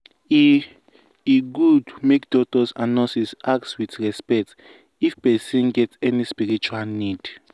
e e good make doctors and nurses ask with respect if person get any spiritual need.